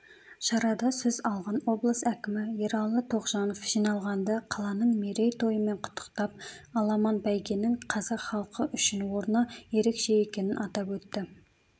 шарада сөз алған облыс әкімі ералы тоғжанов жиналғанды қаланың мерейтойымен құттықтап аламан бәйгенің қазақ халқы үшін орны ерекше екенін атап өтті